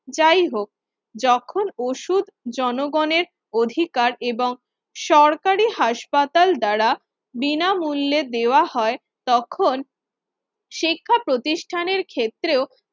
যাই হোক যখন ওষুধ জনগণের অধিকার এবং সরকারি হাসপাতাল দ্বারা বিনামূল্যে দেওয়া হয়, তখন শিক্ষাপ্রতিষ্ঠানের ক্ষেত্রেও